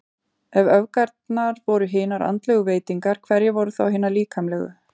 Ef öfgarnar voru hinar andlegu veitingar, hverjar voru þá hinar líkamlegu?